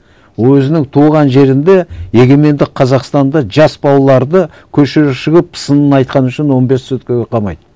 өзінің туған жерінде егеменді қазақстанда жас балаларды көшеге шығып сынын айтқаны үшін он бес суткіге қамайды